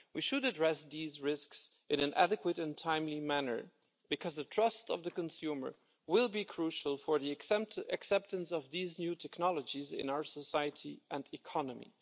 We should address these risks in an adequate and timely manner because the trust of the consumer will be crucial for the acceptance of these new technologies in our society and economy.